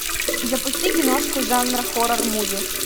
запусти киношку жанр хоррор муви